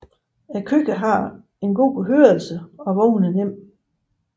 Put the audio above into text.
Køer har en god hørelse og vågner nemt